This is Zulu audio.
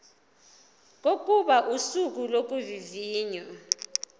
kokuba usuku lokuvivinywa